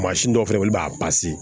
Mansin dɔw fɛnɛ bɛ yen olu b'a